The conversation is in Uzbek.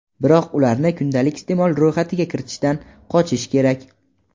biroq ularni kundalik iste’mol ro‘yxatiga kiritishdan qochish kerak.